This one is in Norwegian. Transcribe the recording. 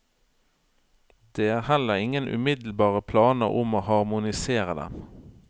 Det er heller ingen umiddelbare planer om å harmonisere dem.